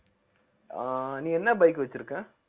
ஆஹ் நீ என்ன bike வச்சிருக்க